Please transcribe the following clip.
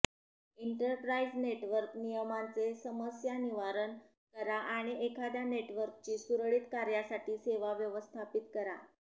enterprise network नियमनांचे समस्यानिवारण करा आणि एखाद्या नेटवर्कची सुरळीत कार्यासाठी सेवा व्यवस्थापित करा